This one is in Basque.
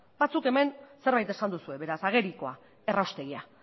batzuk hemen zerbait esan duzue beraz agerikoa erraustegia